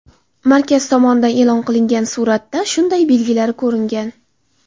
Markaz tomonidan e’lon qilingan suratda shunday belgilari ko‘ringan.